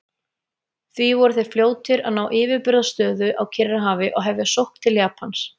Því voru þeir fljótir að ná yfirburðastöðu á Kyrrahafi og hefja sókn til Japans.